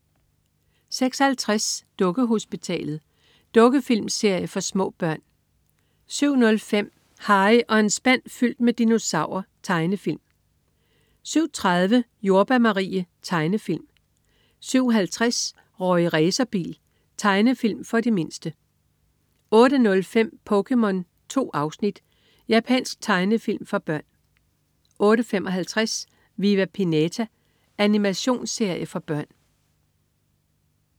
06.50 Dukkehospitalet. Dukkefilmserie for små børn 07.05 Harry og en spand fyldt med dinosaurer. Tegnefilm 07.30 Jordbær Marie. Tegnefilm 07.50 Rorri Racerbil. Tegnefilm for de mindste 08.05 POKéMON. 2 afsnit. Japansk tegnefilm for børn 08.55 Viva Pinata. Animationsserie for børn